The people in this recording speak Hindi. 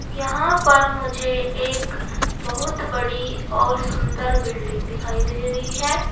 यहां पर मुझे एक बहुत बड़ी और सुंदर बिल्डिंग दिखाई दे रही है।